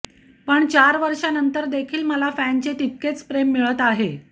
पण चार वर्षांनंतर देखील मला फॅनचे तितकेच प्रेम मिळत आहे